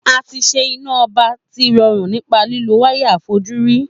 A tí ṣe iná ọba tí rọrùn nípa lílo wáyà àfojúrí